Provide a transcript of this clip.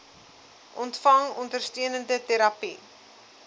ontvang ondersteunende terapie